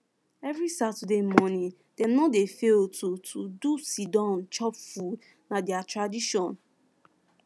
every saturday morning dem no dey fail to to do siddon chop food na their tradition